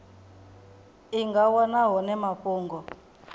i nga wana hone mafhungo